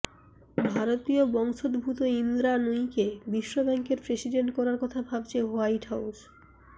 ভারতীয় বংশোদ্ভূত ইন্দ্রা নুয়িকে বিশ্বব্যাংকের প্রেসিডেন্ট করার কথা ভাবছে হোয়াইট হাউস